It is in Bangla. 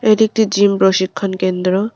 এটি একটি জিম প্রশিক্ষণ কেন্দ্র।